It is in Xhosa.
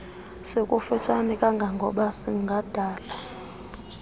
sikufutshane kangangoba singadala